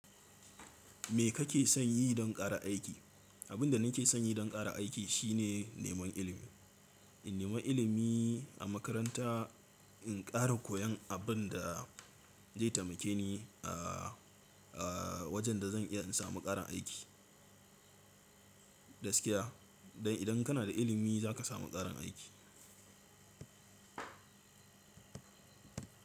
Me kake son yi don ƙara aiki? Abin da nake son yi don ƙara aiki shine neman ilimi. In nema ilimi a makaranta, in ƙara koyan abun da zai taimake ni, a wajen da zan iya in samu ƙaran aiki. Gaskiya, idan kana da ilimi za ka samu ƙarin aiki.